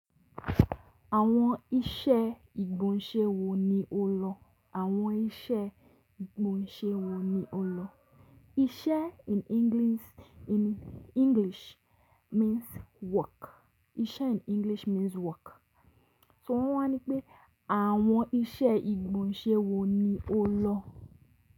Àwọn iṣẹ́ ìgbọ̀nsẹ́ wo ni o lọ? Àwọn iṣẹ́ ìgbọ̀nsẹ́ wo ni o lọ? Iṣẹ́ in English means work. Iṣẹ́ in English means work. So wọ́n wa ńi pé àwọn iṣẹ́ ìgbọ̀nsẹ́ wo ni o lọ?